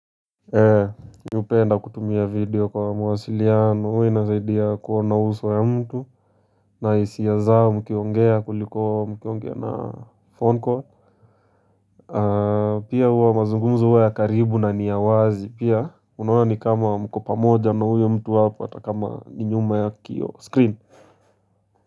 Ee mimi hupenda kutumia video kwa mawasiliano huwa inasaidia kuona uso ya mtu na hisia zao mkiongea kuliko mkiongea na phone call pia huwa mazungumzo huwa ya karibu na ni ya wazi pia unaona ni kama mko pamoja na huyo mtu hapa ata kama ni nyuma ya kioo screen.